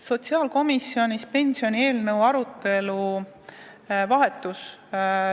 Sotsiaalkomisjonis pensionieelnõu vahetus.